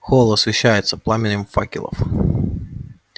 холл освещался пламенем факелов